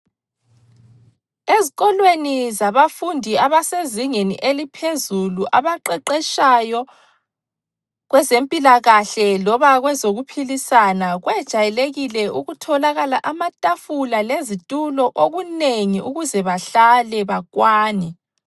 Ezikolweni zabafundi abasezingeni eliphezulu abaqeqetshayo kwezempilakahle loba kwezokuphilisana kwejayelekile ukutholakala amatafula lezitulo okunengi ukuze bahlale bakwane.